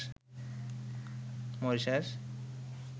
Mauritius